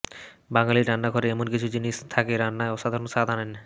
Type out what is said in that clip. বাঙালির রান্নাঘরে এমন কিছু জিনিস থাকে রান্নায় অসাধারণ স্বাদ আনেন